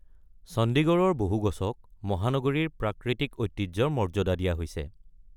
চণ্ডীগড়ৰ বহু গছক মহানগৰীৰ প্ৰাকৃতিক ঐতিহ্যৰ মৰ্যাদা দিয়া হৈছে।